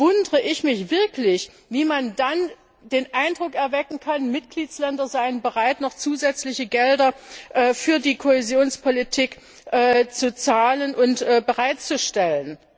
Dann wundere ich mich wirklich, wie man den Eindruck erwecken kann, Mitgliedstaaten seien bereit, noch zusätzliche Gelder für die Kohäsionspolitik zu zahlen und bereitzustellen.